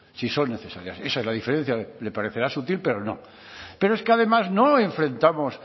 si son necesarias esa es la diferencia le parecerá sutil pero no pero es que además no enfrentamos